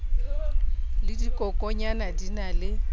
le dikokonyana di na le